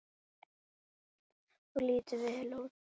Þú lítur vel út.